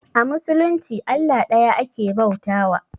A musulunci Allah ɗaya ake bauta wa